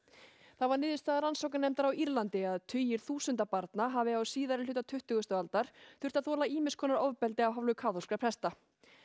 það var niðurstaða rannsóknarnefndar á Írlandi að tugir þúsunda barna hafi á síðari hluta tuttugustu aldar þurft að þola ýmis konar ofbeldi af hálfu kaþólskra presta